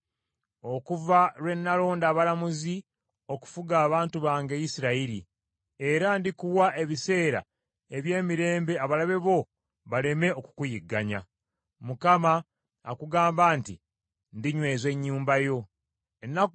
okuva lwe nalonda abalamuzi okufuga abantu bange Isirayiri. Era ndikuwa ebiseera eby’emirembe abalabe bo baleme okukuyigganya. “‘“ Mukama akugamba nti Mukama Katonda yennyini, alinyweza ennyumba yo.